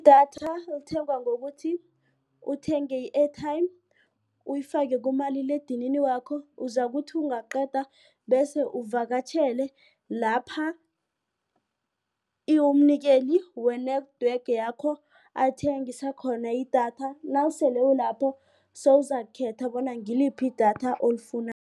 Idatha lithengwa ngokuthi uthenge i-airtime uyifake kumaliledinini wakho uzakuthi ungaqeda bese uvakatjhele lapha umnikeli we-network yakho athengisa khona idatha nawusele ulapho sewuzakukhetha bona ngiliphi idatha